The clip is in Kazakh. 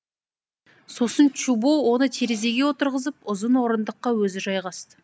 сосын чубо оны терезеге отырғызып ұзын орындыққа өзі жайғасты